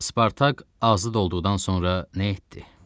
Spartak azad olduqdan sonra nə etdi?